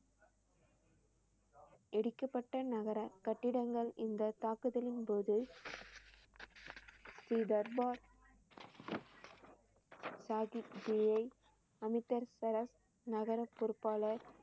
இடிக்கப்பட்ட நகர கட்டிடங்கள் இந்த தாக்குதலின் போது ஸ்ரீ தர்பார் சாஹிப் ஜியை அமிர்தசரஸ் நகர பொறுப்பாளர்